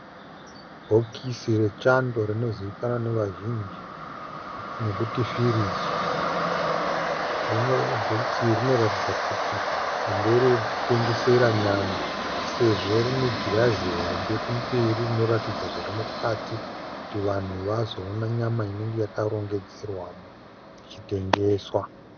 Bhokisi rechando rinozivikanwa nevazhinji nekuti firiji. Bhokisi iri rinoratidza kuti nderekutengesera nyama sezvo rine girazi hombe kumberi rinoratidza zvirimukati kuti vanhu vazoona nyama inenge yakarongedzerwamo ichitengesa.